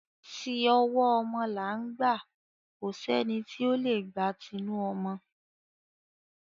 Ti ọwọ́ ọmọ là ń gbà, kò sẹ́ni tí o lè gba tinu ọmọ.